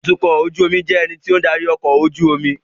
Atukọ̀ ojú omi jẹ́ ẹni tí ó ń darí ọkọ̀ ojú omi